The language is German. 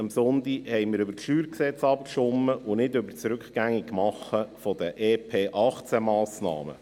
Am Sonntag haben wir über das StG abgestimmt und nicht über das Rückgängigmachen der EP-2018-Massnahmen.